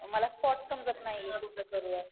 मला स्पॉट समजत नाही कुठं करूया.